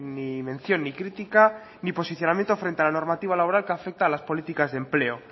ni mención ni crítica ni posicionamiento frente a la normativa laboral que afecta a las políticas de empleo